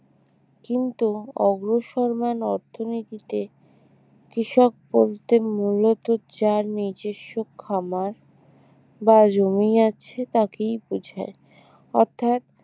কিন্তু অগ্রসরমান অর্থনীতিতে কৃষক বলতে মূলত যার নিজস্ব খামার বা জমি আছে তাকেই বোঝায় অর্থাৎ